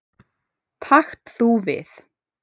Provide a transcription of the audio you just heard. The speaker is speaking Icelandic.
Takt þú við.